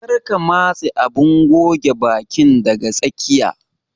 Kar ka matse abun goge bakin daga tsakiya.